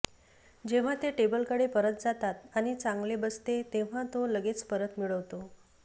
जेव्हा ते टेबलकडे परत जातात आणि चांगले बसते तेव्हा तो लगेच परत मिळवतो